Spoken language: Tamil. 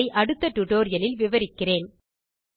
இதை அடுத்த டியூட்டோரியல் லில் விவரிக்கிறேன்